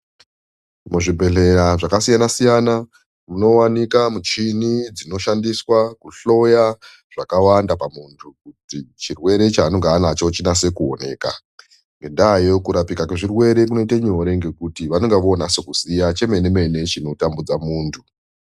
Muzvibhedhlera zvakasiyana siyana munowanikwa michini dzinoshandiswa kuhloya zvakawanda pamunthu kuti chirwere chaanonga anacho chinase kuoneka. Ngendaayo kurapwa kwezvirwere kunoite nyore ngekuti vanonga voonase kuziya chemene mene chinotambudze munthu.